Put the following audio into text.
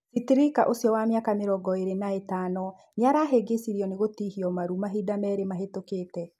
Citrika ũcio wa mĩaka mĩrongo ĩrĩ na na ĩtano. Nĩarahĩngĩcirio nĩ gũtihio maru mahinda merĩ mahetũkite.